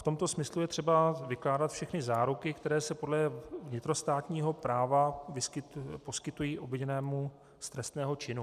V tomto smyslu je třeba vykládat všechny záruky, které se podle vnitrostátního práva poskytují obviněnému z trestného činu.